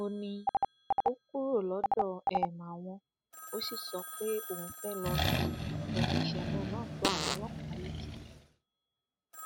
ó ní ó kúrò lọdọ um àwọn ó sì sọ pé òun fẹẹ ló fi um ìṣẹlẹ náà tó àwọn ọlọpàá létí